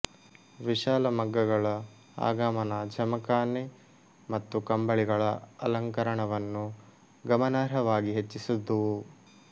ವಿಶಾಲ ಮಗ್ಗಗಳ ಆಗಮನ ಜಮಖಾನೆ ಮತ್ತು ಕಂಬಳಿಗಳ ಅಲಂಕರಣವನ್ನು ಗಮನಾರ್ಹವಾಗಿ ಹೆಚ್ಚಿಸಿದುವು